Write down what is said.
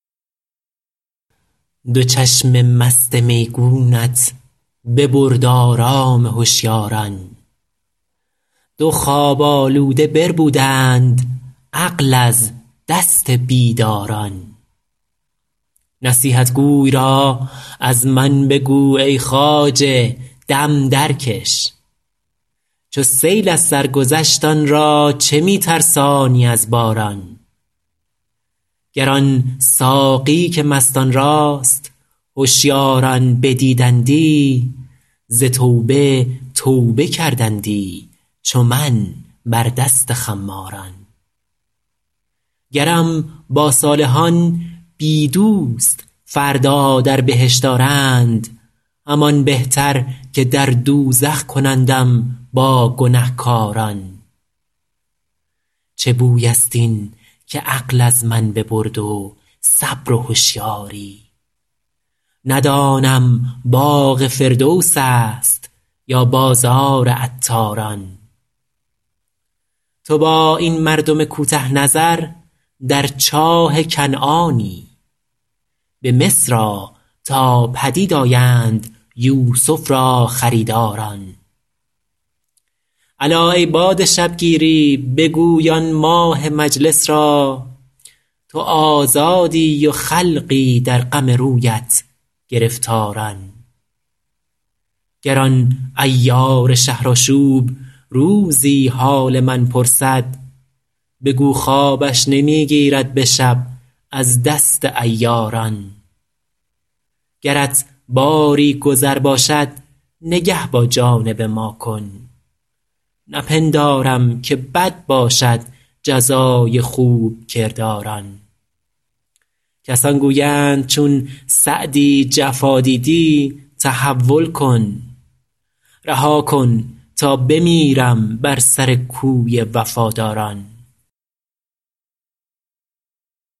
دو چشم مست میگونت ببرد آرام هشیاران دو خواب آلوده بربودند عقل از دست بیداران نصیحتگوی را از من بگو ای خواجه دم درکش چو سیل از سر گذشت آن را چه می ترسانی از باران گر آن ساقی که مستان راست هشیاران بدیدندی ز توبه توبه کردندی چو من بر دست خماران گرم با صالحان بی دوست فردا در بهشت آرند همان بهتر که در دوزخ کنندم با گنهکاران چه بوی است این که عقل از من ببرد و صبر و هشیاری ندانم باغ فردوس است یا بازار عطاران تو با این مردم کوته نظر در چاه کنعانی به مصر آ تا پدید آیند یوسف را خریداران الا ای باد شبگیری بگوی آن ماه مجلس را تو آزادی و خلقی در غم رویت گرفتاران گر آن عیار شهرآشوب روزی حال من پرسد بگو خوابش نمی گیرد به شب از دست عیاران گرت باری گذر باشد نگه با جانب ما کن نپندارم که بد باشد جزای خوب کرداران کسان گویند چون سعدی جفا دیدی تحول کن رها کن تا بمیرم بر سر کوی وفاداران